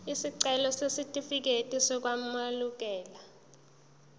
isicelo sesitifikedi sokwamukeleka